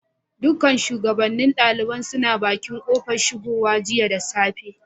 Duka shugabannin ɗaliban suna bakin kofar shigowa jiya da safe.